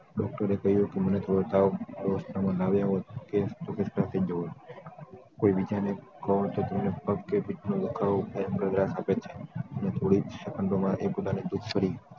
doctor એ કહ્યું હતું મને થોડો તાવ કોઈ બીજાને પગ કે પેટનો દુખાવો થાય આપે છે ને થોડીક